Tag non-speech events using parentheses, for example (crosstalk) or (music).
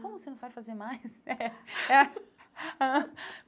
Como você não vai fazer mais? (laughs) É é ãh